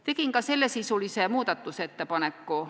Tegin ka sellesisulise muudatusettepaneku.